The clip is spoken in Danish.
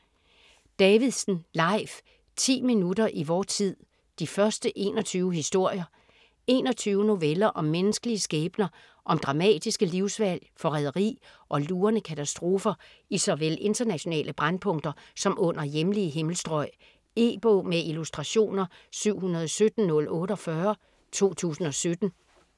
Davidsen, Leif: 10 minutter i vor tid: de første 21 historier 21 noveller om menneskelige skæbner, om dramatiske livsvalg, forræderi og lurende katastrofer i såvel internationale brændpunkter som under hjemlige himmelstrøg. E-bog med illustrationer 717048 2017.